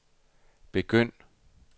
begynd